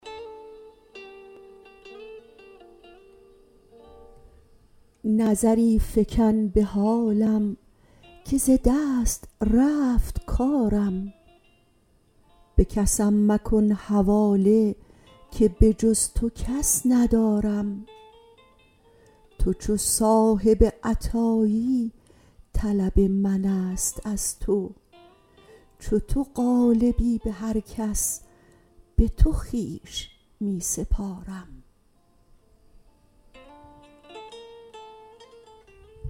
نظری فگن به حالم که ز دست رفت کارم به کسم مکن حواله که بجز تو کس ندارم تو چو صاحب عطایی طلب منست از تو چو تو غالبی به هر کس به تو خویش می سپارم